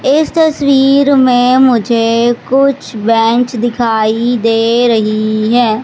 इस तस्वीर में मुझे कुछ बेंच दिखाई दे रही है।